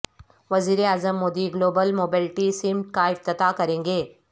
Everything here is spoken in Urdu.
وزیر اعظم مودی گلوبل موبیلٹی سمٹ کا افتتاح کریں گے